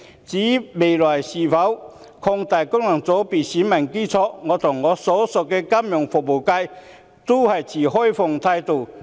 至於未來應否擴大功能界別的選民基礎，我和我所屬的金融服務界均持開放態度。